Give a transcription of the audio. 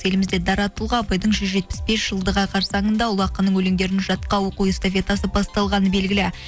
елімізде дара тұлға абайдың жүз жетпіс бес жылдығы қарсаңында ұлы ақынның өлеңдерін жатқа оқу эстафетасы басталғаны белгілі